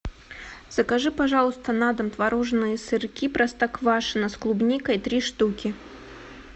закажи пожалуйста на дом творожные сырки простоквашино с клубникой три штуки